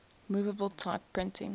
movable type printing